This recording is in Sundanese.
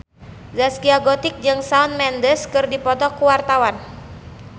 Zaskia Gotik jeung Shawn Mendes keur dipoto ku wartawan